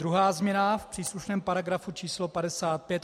Druhá změna v příslušném paragrafu číslo 55 odst.